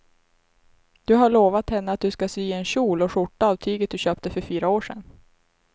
Du har lovat henne att du ska sy en kjol och skjorta av tyget du köpte för fyra år sedan.